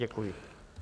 Děkuji.